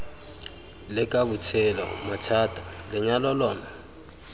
leka botshelo mathata lenyalo lona